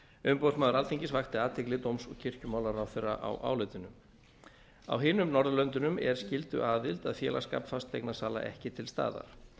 umboðsmaður alþingis vakti athygli dóms og kirkjumálaráðherra á álitinu á hinum norðurlöndunum er skylduaðild að félagsskap fasteignasala ekki til staðar